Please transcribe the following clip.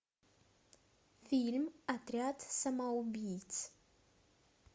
фильм отряд самоубийц